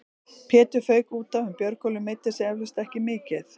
Pétur fauk útaf en Björgólfur meiddi sig eflaust ekki mikið.